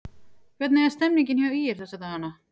Hvernig er stemmningin hjá ÍR þessa dagana?